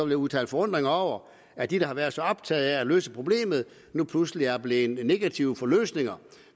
jeg udtale forundring over at de der har været så optaget af at løse problemet nu pludselig er blevet negative over for løsninger